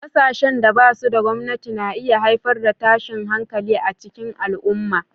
Ƙasashen da ba su da gwamnati na iya haifar da tashin hankali a cikin al'umma.